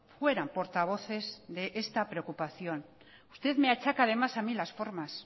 fueran portavoces de esta preocupación usted me achaca además a mí las formas